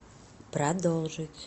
продолжить